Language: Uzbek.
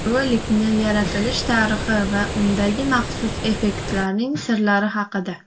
Rolikning yaratilish tarixi va undagi maxsus effektlarning sirlari haqida .